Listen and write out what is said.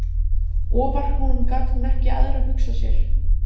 Ofar honum gat hún ekkert æðra hugsað sér.